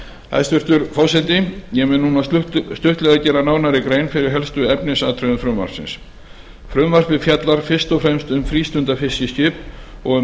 hæstvirtur forseti ég mun nú stuttlega gera nánari grein fyrir helstu efnisatriðum frumvarpsins frumvarpið fjallar fyrst og fremst um frístundafiskiskip og um